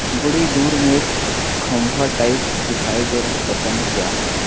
बड़ी दूर में एक खंभा टाइप दिखाई दे रहे है पता नहीं क्या है।